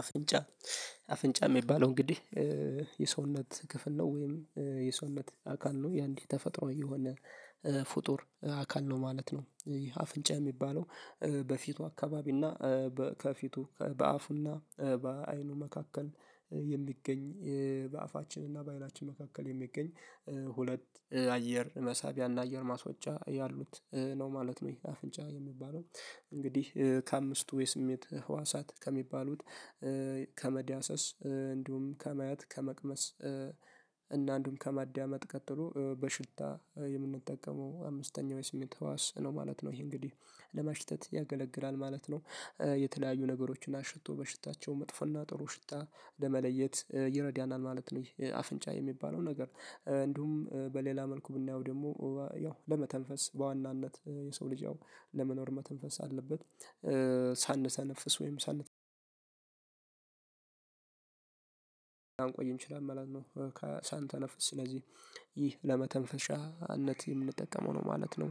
አፍንጫ። አፍንጫ የሚባለው እንግዲህ የሰውነት ክፍል ነው ወይም የሰውነት አካል ነው የአንድ ተፈጥሮ የሆነ ፍጡር አካል ነው ማለት ነው። ይህ አፍንጫ የሚባለው በፊቱ አካባቢ እና ከፊቱ በአፉና በአይኑ መካከል የሚገኝ በአፋችንና በአይናችን መካከል የሚገኝ ሁለት አየር መሳቢያና አየር ማስወጫ ያሉት ነው ማለት ነው። ይሄ አፍንጫ የሚባለው እንግዲህ ከአምስቱ የስሜት ህዋሳት ከሚባሉት ከመዳሰስ እንዲሁም ከማየት ከመቅመስ እና አንዱም ከማዳመጥ ቀጥሎ በሽታ የምንጠቀመው አምስተኛው የስሜት ህዋስ ነው ማለት ነው። ይሄ እንግዲህ ለማሽተት ያገለግላል ማለት ነው የተለያዩ ነገሮችን አሽቶ በሽታቸው መጥፎና ጥሩ ሽታ ለመለየት ይረዳናል ማለት ነው። አፍንጫ የሚባለው ነገር እንዲሁም በሌላ መልኩ ብናየው ደግሞ ያው ለመተንፈስ በዋናነት የሰው ልጅ ያው ለመኖር መተንፈስ አለበት። ሳንተነፍስ ወይም ሳን ላንቆይ እንችላለን መለት ነው ሳንተነፍስ ስለዚህ ይህ ለመተንፈሻነት የምንጠቀመው ነው ማለት ነው።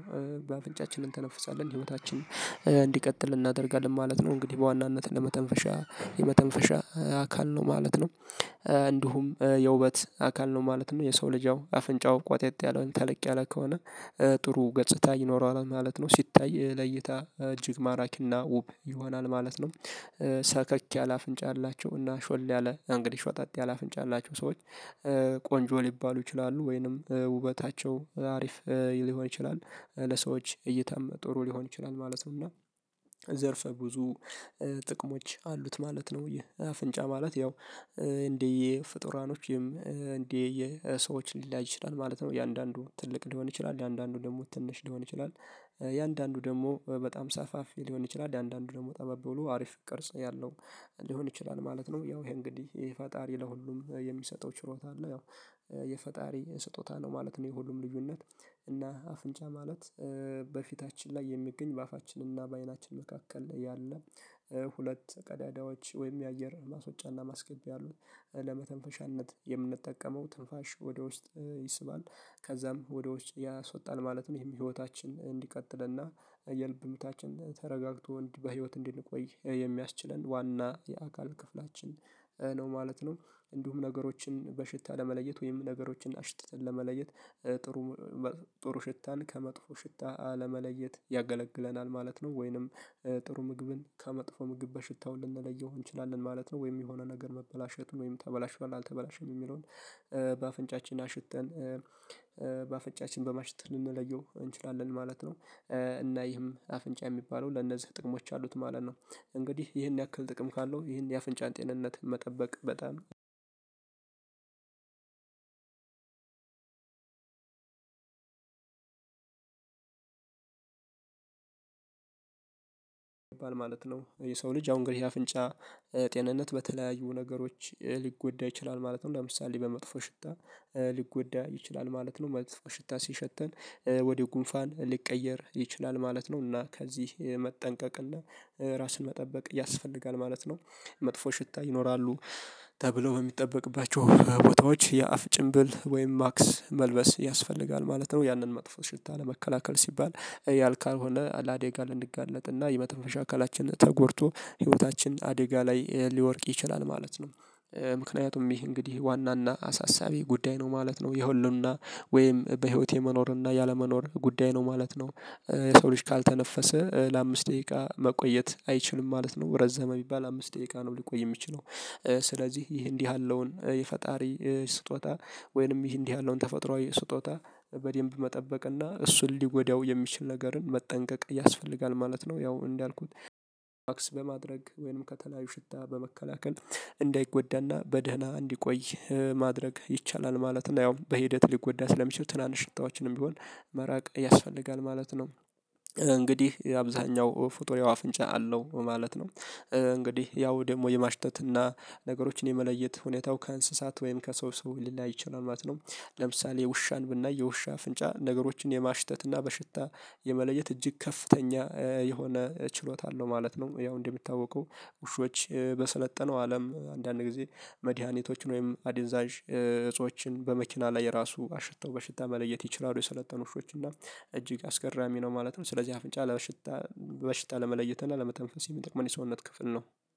በአፍንጫችን እንተነፍሳለን ህይወታችን እንዲቀጥል እናደርጋለን ማለት ነው እንግዲህ በዋናነት ለመተንፈሻ የመተንፈሻ አካል ነው ማለት ነው። እንዲሁም የውበት አካል ነው ማለት ነው የሰው ልጅ አፍንጫው ቋጠጥ ያለ ተለቅ ያለ ከሆነ ጥሩ ገጽታ ይኖረዋል ማለት ነው ሲታይ ለእይታ እጅግ ማራኪና ውብ ይሆናል ማለት ነው። ሰከክ ያለ አፍንጫ ያላችው እና ሾል ያለ እንግዲህ ሾጠጥ ያለ አፍንጫ ያላቸው ሰዎች ቆንጆ ሊባሉ ይችላሉ ወይንም ውበታቸው አሪፍ ሊሆን ይችላል ለሰዎች እይታም ጥሩ ሊሆን ይችላል ማለት ነው። እና ዘርፈ ብዙ ጥቅሞች አሉት ማለት ነው ይሄ አፍንጫ ማለት ያው እንደየ ፍጡራኖችም የሰዎች ሊለያይ ይችላል ማለት ነው። የአንዳንዱ ትልቅ ሊሆን ይችላል የአንዳንዱ ደግሞ ትንሽ ሊሆን ይችላል የአንዳንዱ ደግሞ በጣም ሰፋፊ ሊሆን ይችላል የአንዳንዱ ደግሞ ጠበብ ብሎ አሪፍ ቅርጽ ያለው ሊሆን ይችላል ማለት ነው። ያው ይሄ እንግዲህ ይሄ ፈጣሪ ለሁሉም የሚሰጠው ችሮታ አለ ያው የፈጣሪ ስጦታ ነው ማለት ነው። የሁሉም ልዩነት እና አፍንጫ ማለት በፊታችን ላይ የሚገኝ በአፋችንና በአይናችን መካከል ላይ ያለ ሁለት ቀዳዳዎች ወይም የአየር ማስወጫና ማስገቢያ ያሉት ለመተንፈሻነት የምንጠቀመው ትንፋሽ ወደ ውስጥ ይስባል ከዛም ወደ ውጭ ያስወጣል ማለት ነው ይሄም ህይወታችን እንዲቀጥልና የልብ ምታችን ተረጋግቶ በህይወት እንዲቆይ የሚያስችለን ዋና የአካል ክፍላችን ነው ማለት ነው። እንዲሁም ነገሮችን በሽታ ለመለየት ወይም ነገሮችን አሽትተን ለመለየት ጥሩ ጥሩ ሽታን ከመጥፎ ሽታ ለመለየት ያገለግለናል ማለት ነው ወይንም ጥሩ ምግብን ከመጥፎ ምግብ በሽታው ልንለየው እንችላለን ማለት ነው። ወይም የሆነ ነገር መበላሸቱን ወይም ተበላሽቷል አልተበላሸም የሚለውን በአፍንጫችን አሽትተን በአፍንጫችን በማሽተት ልንለየው እንችላለን ማለት ነው። እና ይህም አፍንጫ የሚባለው ለነዚህ ጥቅሞች አሉት ማለት ነው እንግዲህ ይህን ያክል ጥቅም ካለው ይህን የአፍንጫን ጤንነት መጠበቅ በጣም አንድ ይባል ማለት ነው። የሰው ልጅ ያው እንግዲህ ያፍንጫ ጤንነት በተለያዩ ነገሮች ሊጎዳ ይችላል ማለት ነው። ለምሳሌ በመጥፎ ሽታ ሊጎዳ ይችላል ማለት ነው መጥፎ ሽታ ሲሸተን ወደ ጉንፋን ሊቀየር ይችላል ማለት ነው። እና ከዚህ መጠንቀቅ እና ራስን መጠበቅ ያስፈልጋል ማለት ነው። መጥፎ ሽታ ይኖራሉ ተብለው በሚጠበቅባቸው ቦታዎች የአፍ ጭንብል ወይም ማክስ መልበስ ያስፈልጋል ማለት ነው። ያንን መጥፎ ሽታ ለመከላከል ሲባል ያ ካልሆነ ለአደጋ ልንጋለጥ እና የመተንፈሻ አካላችን ተጎድቶ ህይወታችን አደጋ ላይ ሊወድቅ ይችላል ማለት ነው። ምክንያቱም ይህ እንግዲህ ዋናና አሳሳቢ ጉዳይ ነው ማለት ነው የህልውና ወይም በህይወት የመኖርና ያለመኖር ጉዳይ ነው ማለት ነው። የሰው ልጅ ካልተነፈሰ ለአምስት ደቂቃ መቆየት አይችልም ማለት ነው ረዘመ ቢባል አምስት ደቂቃ ነው ሊቆይ የሚችለው ስለዚህ ይህ እንዲህ ያለውን የፈጣሪ ስጦታ ወይንም ይህ እንዲህ ያለውን ተፈጥሮአዊ ስጦታ በደንብ መጠበቅ እና እሱን ሊጎዳው የሚችል ነገርን መጠንቀቅ ያስፈልጋል ማለት ነው። ያው እንዳልኩት በማድረግ ወይም ከተለያዩ ሽታ በመከላከል እንዳይጎዳና በደህና እንዲቆይ ማድረግ ይቻላል ማለት ነው ያው በሂደት ሊጎዳ ስለሚችል ትናንሽ ሽታዎችንም ቢሆን መራቅ ያስፈልጋል ማለት ነው። እንግዲህ አብዛኛው ፉጡር ያው አፍንጫ አለው ማለት ነው። እንግዲህ ያው ደግሞ የማሽተትና ነገሮችን የመለየት ሁኔታው ከእንስሳት ወይም ከሰው ሰው ሊለያይ ይችላል ማለት ነው። ለምሳሌ ውሻን ብናይ የውሻ አፍንጫ ነገሮችን የማሽተት እና በሽታ የመለየት እጅግ ከፍተኛ የሆነ ችሎታ አለው ማለት ነው። ያው እንደምታወቀው ውሾች በሰለጠነው አለም አንዳንድ ጊዜ መድሃኒቶችን ወይም አድንዛዥ እጾችን በመኪና ላይ ራሱ አሽተው በሽታ መለየት ይችላሉ የሰለጠኑ ውሾች እና እጅግ አስገራሚ ነው ማለት ነው። ስለዚህ አፍንጫ ለሽታ በሽታ ለመለየት እና ለመተንፈስ የሚጠቅመን የሰውነት ክፍል ነው።